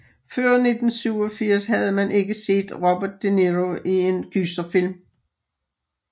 Før 1987 havde man ikke set Robert De Niro i en gyserfilm